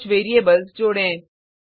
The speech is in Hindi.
कुछ वेरिएबल्स जोडें